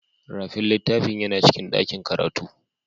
Rafin littafin yana cikin dakin karatu.